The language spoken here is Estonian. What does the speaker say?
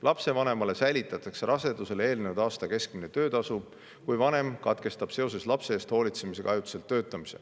Lapsevanemale säilitatakse rasedusele eelnenud aasta keskmine töötasu, kui ta lapse eest hoolitsemise tõttu peab töötamise ajutiselt katkestama.